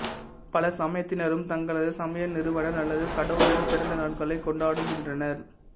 பல சமயத்தினரும் தங்களது சமய நிறுவனர் அல்லது கடவுளரின் பிறந்த நாட்களை கொண்டாடுகின்றனர்